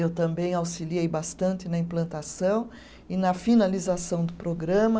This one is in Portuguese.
Eu também auxiliei bastante na implantação e na finalização do programa.